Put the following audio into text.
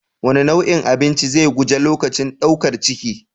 Wane nau'in abinci zan guji lokacin ɗaukar ciki?